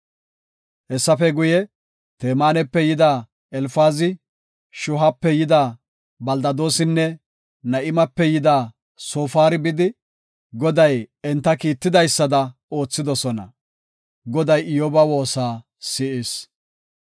Hessafe guye, Temaanape yida Elfaazi, Shuuhape yida Beldadoosinne Na7imape yida Soofari bidi, Goday enta kiittidaysada oothidosona. Goday Iyyoba woosa s7is.